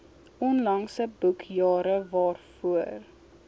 onlangse boekjare waarvoor